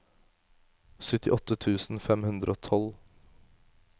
syttiåtte tusen fem hundre og tolv